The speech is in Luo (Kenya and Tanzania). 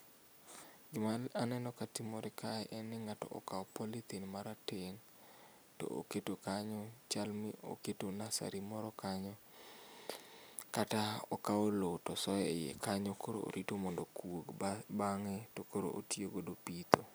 Gima aneno katimore kae en ni ng'ato okao polythene marateng to oketo kanyo, chal ni oketo nursery moro kanyo kata okao loo tosoye iye kanyo koro orito mondo okuog. Bang'e tokoro otiyo godo e pitho